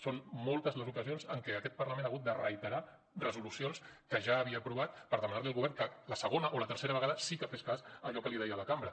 són moltes les ocasions en què aquest parlament ha hagut de reiterar resolucions que ja havia aprovat per demanar li al govern que a la segona o la tercera vegada sí que fes cas a allò que li deia la cambra